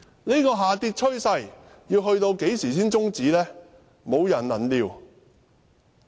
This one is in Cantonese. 這下跌趨勢要到何時才終止呢？無人能料。